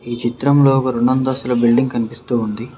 ఈ చిత్రంలో ఒక రొండంతస్తుల బిల్డింగ్ కనిపిస్తూ ఉంది.